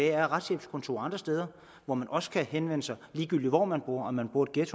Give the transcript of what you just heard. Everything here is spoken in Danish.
er retshjælpskontorer andre steder hvor man også kan henvende sig ligegyldigt hvor man bor om man bor i et